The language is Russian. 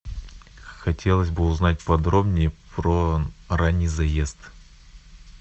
хотелось бы узнать подробнее про ранний заезд